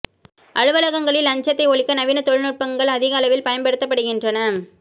அலுவலகங்களில் லஞ்சத்தை ஒழிக்க நவீன தொழில்நுட்பங்கள் அதிக அளவில் பயன்படுத்தப்படுகின்றன